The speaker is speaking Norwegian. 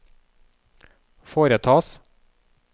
foretas